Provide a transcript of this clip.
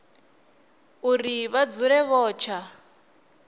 uri vha dzule vho tsha